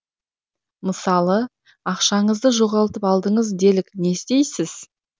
мысалы ақшаңызды жоғалтып алдыңыз делік не істейсіз